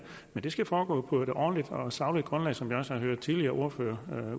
men det skal foregå på et ordentligt og sagligt grundlag som vi også har hørt tidligere ordførere